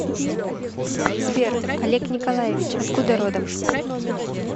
сбер олег николаевич откуда родом